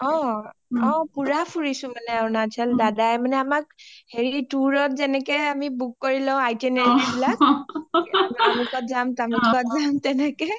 অ, অ পুৰা ফুৰিছা মানে অৰুণাচল দাদাই মানে হেৰি tour ত যেনেকে আমি বুক কৰি লেও আমি itineraries বিলাক অমোকত যাম তমোকত যাম তেনেকে